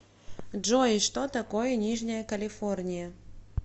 джой что такое нижняя калифорния